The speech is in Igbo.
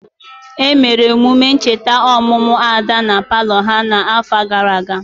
Emere emume ncheta ọmụmụ Ada na palọ ha n'afọ gara aga.